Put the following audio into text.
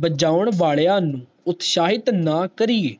ਬਾਜੋਂ ਵਾਲਿਆਂ ਨੂੰ ਉਤਸਾਹਿਤ ਨਾ ਕਰੀਏ